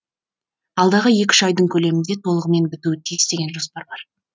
алдағы екі үш айдың көлемінде толығымен бітуі тиіс деген жоспар бар